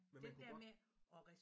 Men man kunne godt